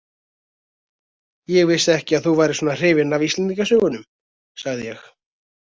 Ég vissi ekki að þú værir svona hrifin af Íslendingasögunum, sagði ég.